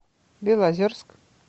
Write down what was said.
белозерск